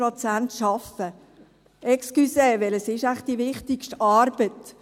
Entschuldigung, welches ist wohl die wichtigste Arbeit?